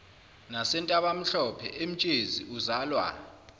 nasentabamhlophe emtshezi uzalwa